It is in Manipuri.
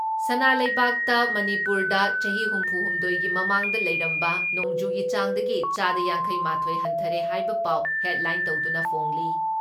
ꯁꯅꯥ ꯂꯩꯕꯥꯛꯇ ꯃꯅꯤꯄꯨꯔꯗ ꯆꯍꯤ ꯍꯨꯝꯐꯨ ꯍꯨꯝꯗꯣꯏꯒꯤ ꯃꯃꯥꯡꯗ ꯂꯩꯔꯝꯕ ꯅꯣꯡꯖꯨꯒꯤ ꯆꯥꯡꯗꯒꯤ ꯆꯥꯗ ꯌꯥꯡꯈꯩ ꯃꯥꯊꯣꯏ ꯍꯟꯊꯔꯦ ꯍꯥꯏꯕ ꯄꯥꯎ ꯍꯦꯗꯂꯥꯏꯟ ꯇꯧꯗꯨꯅ ꯐꯣꯡꯂꯤ ꯫